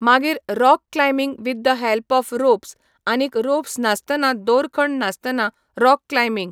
मागीर rock climbing with the help of ropes आनीक ropes नासतना दोरखंड नासतना राॅक क्लायबिंग